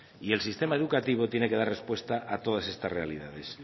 y el sistema educativo tiene que dar respuesta a todas estas realidades